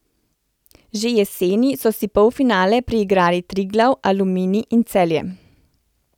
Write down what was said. Že jeseni so si polfinale priigrali Triglav, Aluminij in Celje.